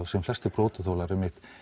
sem flestir brotaþolar